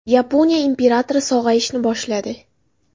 Yaponiya imperatori sog‘ayishni boshladi.